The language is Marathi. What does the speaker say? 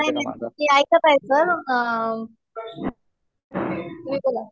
नाही नाही. मी ऐकत आहे सर. तुम्ही बोला.